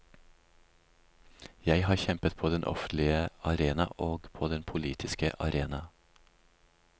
Jeg har kjempet på den offentlige arena og på den politiske arena.